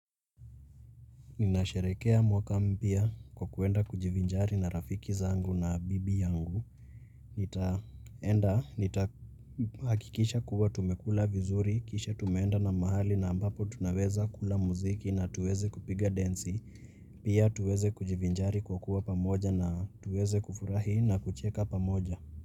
Ninasherehekea mwaka mpya kwa kuenda kujivinjari na rafiki zangu na bibi yangu. Nitaenda, nitahakikisha kuwa tumekula vizuri, kisha tumenda na mahali na ambapo tunaweza kula muziki na tuweze kupiga densi. Pia tuweze kujivinjari kwa kuwa pamoja na tuweze kufurahi na kucheka pamoja.